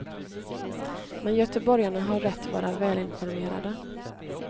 Men göteborgarna har rätt vara välinformerade.